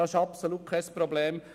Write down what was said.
Dies ist absolut kein Problem.